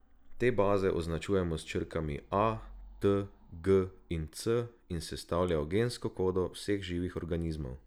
Te baze označujemo s črkami A, T, G in C in sestavljajo gensko kodo vseh živih organizmov.